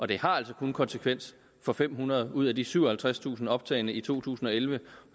det har altså kun konsekvens for fem hundrede ud af de syvoghalvtredstusind optagne i to tusind og elleve og